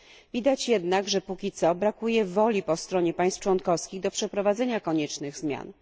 Widać jednak, że póki co brakuje woli po stronie państw członkowskich do przeprowadzenia koniecznych zmian.